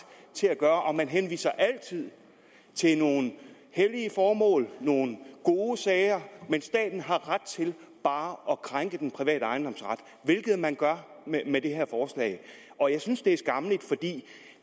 til at gøre og man henviser altid til nogle hellige formål nogle gode sager men staten har ret til bare at krænke den private ejendomsret hvilket man gør med det her forslag og jeg synes det er skammeligt for det